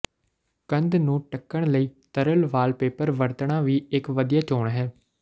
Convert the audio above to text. ਕੰਧ ਨੂੰ ਢੱਕਣ ਲਈ ਤਰਲ ਵਾਲਪੇਪਰ ਵਰਤਣਾ ਵੀ ਇਕ ਵਧੀਆ ਚੋਣ ਹੈ